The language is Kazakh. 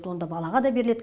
онда балаға да беріледі